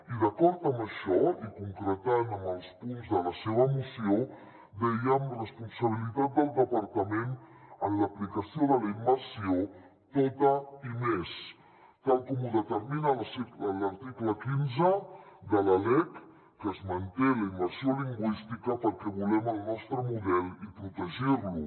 i d’acord amb això i concretant amb els punts de la seva moció dèiem responsabilitat del departament en l’aplicació de la immersió tota i més tal com ho determina l’article quinze de la lec que es manté la immersió lingüística perquè volem el nostre model i protegir lo